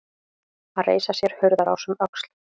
Að reisa sér hurðarás um öxl